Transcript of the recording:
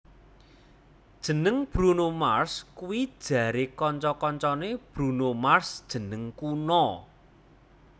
Jeneng Bruno Mars kuwi jare kanca kancane Bruno Mars jeneng kuna